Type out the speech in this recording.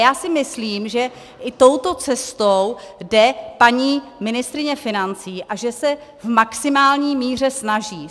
Já si myslím, že i touto cestou jde paní ministryně financí a že se v maximální míře snaží.